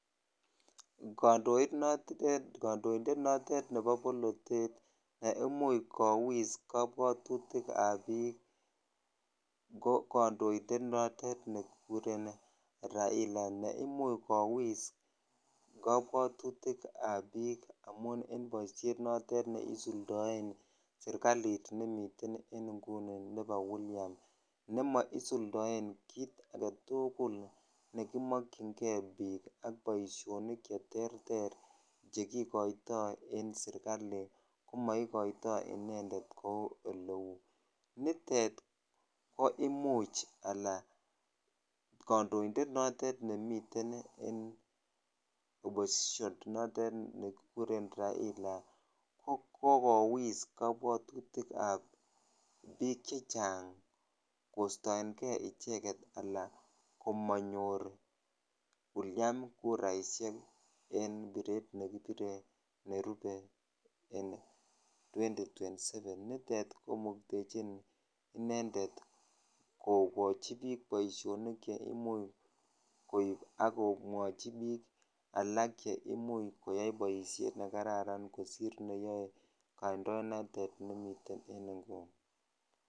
Kondoit notet, kondointet notet nebo bolotet neimuch kowis kobwotutikab biik ko kondoindet notet nekikuren Raila neimuch kowis kobwotutikab biik amun en boishet neisuldoen serikalit nemiten en inguni nebo William nemo isuldoen kiit aketukul nekimokyinge biik ak boishonik cheterter chekikoito en serikali komoikoto inendet kou eleu, nitet ko imuch alaa kondoindet notet nemiten en oppostion notet nekikuren Raila ko kokowis kobwotutikab biik chechang kostoenge icheket alaa komonyor William kuraishek en biret nekibire nerube en twenty twenty seven, nitet komuktechin inendet kokochi biik boishonik cheimuch koib ak komwochi biik alak cheimuch koyai boishet nekararan kosir neyoe kondoinatet nemiten en inguni.